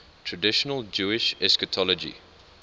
traditional jewish eschatology